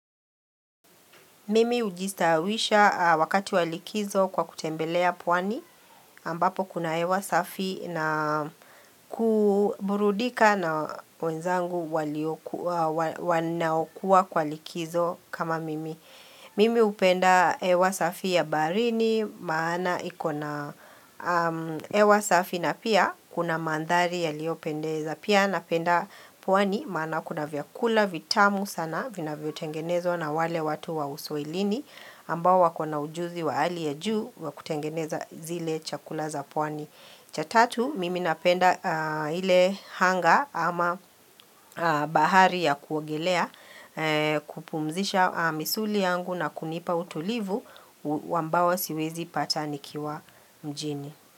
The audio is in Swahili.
Mimi ujistaawisha wakati wa likizo kwa kutembelea pwani ambapo kuna hewa safi na kuburudika na wenzangu wanaokua kwa likizo kama mimi. Mimi upenda hewa safi ya baharini maana ikona hewa safi na pia kuna mandhari yaliyopendeza. Pia napenda pwani maana kuna vyakula vitamu sana vinavyotengenezwa na wale watu wa uswahilini ambao wako na ujuzi wa hali ya juu wa kutengeneza zile chakula za pwani. Cha tatu, mimi napenda ile hanga ama bahari ya kuogelea kupumzisha misuli yangu na kunipa utulivu ambao siwezi pata nikiwa mjini.